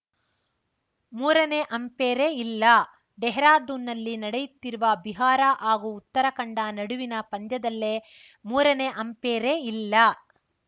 ಮೂರನೇ ಅಂಪೇರೇ ಇಲ್ಲ ಡೆಹರಾಡುನ್‌ನಲ್ಲಿ ನಡೆಯುತ್ತಿರುವ ಬಿಹಾರ ಹಾಗೂ ಉತ್ತರಾಖಂಡ ನಡುವಿನ ಪಂದ್ಯದಲ್ಲೆ ಮೂರನೇ ಅಂಪೇರೇ ಇಲ್ಲ